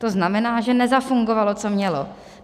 To znamená, že nezafungovalo, co mělo.